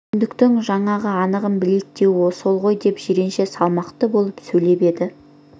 сүйіндіктің жаңағы анығын білейік деуі сол ғой деп жиренше салмақты болып сөйлеп еді